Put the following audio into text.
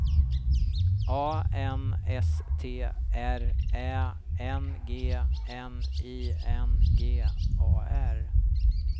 A N S T R Ä N G N I N G A R